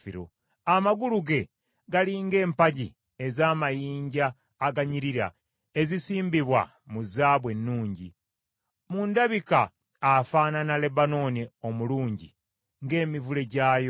Amagulu ge gali ng’empagi ez’amayinja aganyirira ezisimbibwa mu zaabu ennungi. Mu ndabika afaanana Lebanooni omulungi ng’emivule gyayo.